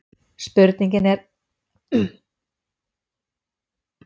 Spurningin er heild sinni hljóðaði svona: Getur þú sagt mér allt um gíraffa?